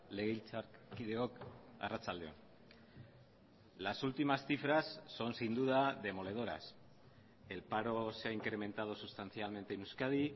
legebiltzarkideok arratsalde on las últimas cifras son sin duda demoledoras el paro se ha incrementado sustancialmente en euskadi